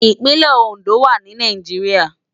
Ipinlè Ondo wá ni Náijiriá